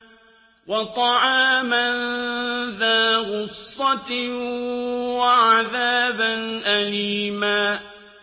وَطَعَامًا ذَا غُصَّةٍ وَعَذَابًا أَلِيمًا